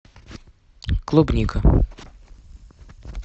клубника